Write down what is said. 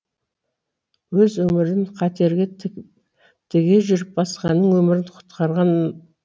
өз өмірін қатерге тіге жүріп басқаның өмірін құтқарған